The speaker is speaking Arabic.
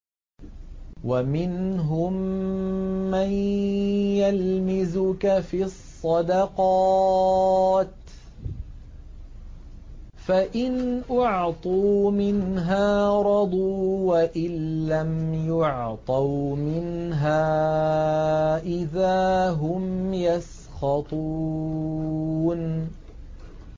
وَمِنْهُم مَّن يَلْمِزُكَ فِي الصَّدَقَاتِ فَإِنْ أُعْطُوا مِنْهَا رَضُوا وَإِن لَّمْ يُعْطَوْا مِنْهَا إِذَا هُمْ يَسْخَطُونَ